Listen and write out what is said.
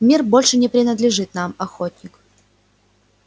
мир больше не принадлежит нам охотник